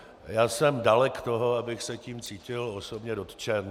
Já jsem dalek toho, abych se tím cítil osobně dotčen.